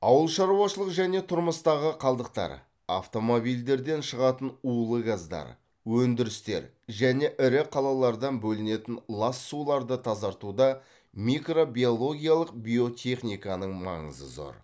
ауыл шаруашылық және тұрмыстағы қалдықтар автомобильдерден шығатын улы газдар өндірістер және ірі қалалардан бөлінетін лас суларды тазартуда микробиологиялық биотехниканың маңызы зор